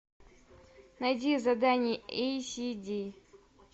найди задание эй си ди